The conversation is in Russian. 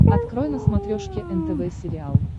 открой на смотрешке нтв сериал